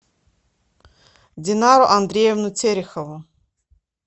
динару андреевну терехову